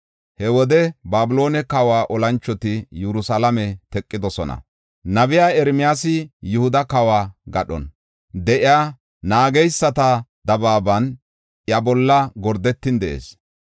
He wode Babiloone kawa olanchoti Yerusalaame teqidosona; nabey Ermiyaasi Yihuda kawo gadhon de7iya, naageysata dabaaban iya bolla gordetin de7ees.